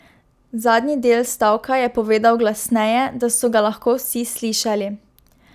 Zadnji del stavka je povedal glasneje, da so ga lahko vsi slišali.